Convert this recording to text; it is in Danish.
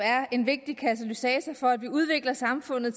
er en vigtig katalysator for at vi udvikler samfundet